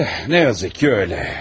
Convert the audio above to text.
Təəssüf ki elədir.